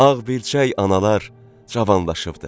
Ağbilçək analar cavanlaşıbdır.